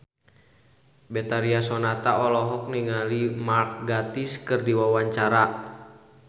Betharia Sonata olohok ningali Mark Gatiss keur diwawancara